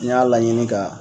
N y'a laɲini ka